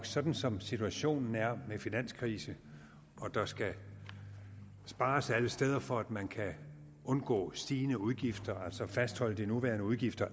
sådan som situationen er med finanskrise og at der skal spares alle steder for at man kan undgå stigende udgifter altså fastholde de nuværende udgifter